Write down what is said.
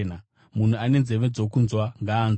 Munhu ane nzeve dzokunzwa ngaanzwe.”